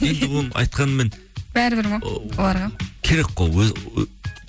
енді оны айтқанмен бәрібір ма оларға керек қой